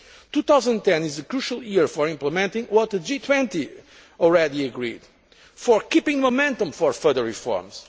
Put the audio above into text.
2010 is the crucial year for implementing what the G20 has already agreed, and for keeping the momentum for further reforms.